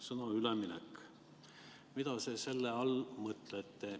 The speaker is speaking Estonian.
Sõna "üleminek" – mida te selle all mõtlete?